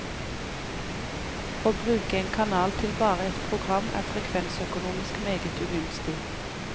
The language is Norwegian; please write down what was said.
Å bruke en kanal til bare ett program er frekvensøkonomisk meget ugunstig.